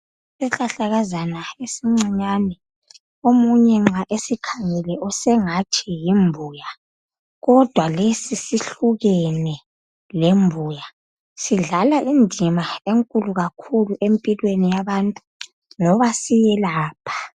Isihlahlakazana esincinyane omunye nxa esikhangele usengathi yimbuya kodwa lesi sihlukene lembuya Sidlala indima enkulu kakhulu empilweni yabantu ngoba siyelapha.